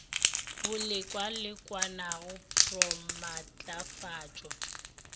bo lekalekanago pr o maatlafatšwa